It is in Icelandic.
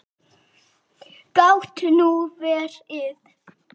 Gat nú verið.